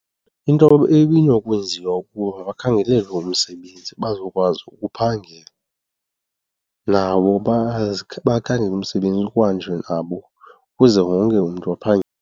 Into ebinokwenziwa kukuba bakhangelelwe umsebenzi bazokwazi ukuphangela, nabo bakhangele umsebenzi kuhanjwe nabo ukuze wonke umntu aphangele.